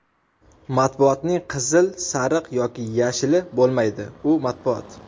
Matbuotning "qizil", "sariq" yoki "yashili" bo‘lmaydi, u matbuot.